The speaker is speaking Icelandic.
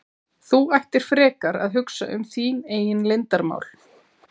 Þú ættir frekar að hugsa um þín eigin leyndarmál!